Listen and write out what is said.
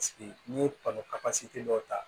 n'i ye dɔw ta